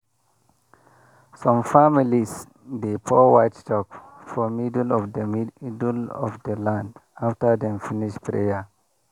some families dey pour white chalk for middle of the middle of the land after dem finish prayer.